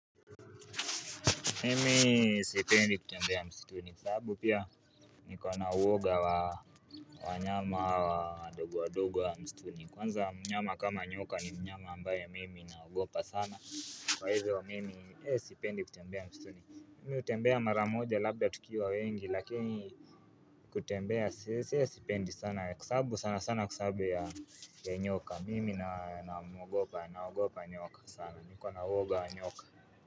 Mimi sipendi kutembea msituni kwa sababu pia niko na uoga wa wanyama hawa wadogo wadogo wa msituni Kwanza mnyama kama nyoka ni mnyama ambaye mimi naogopa sana Kwa hivyo mimi sipendi kutembea msituni Mimi hutembea mara moja labda tukiwa wengi lakini kutembea sipendi sana Kwa sababu sana sana kwa sababu ya nyoka mimi namuogopa naogopa nyoka sana niko na uoga wa nyoka.